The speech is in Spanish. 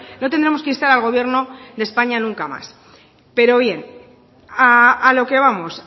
no tendremos que instar al gobierno de españa nunca más pero bien a lo que vamos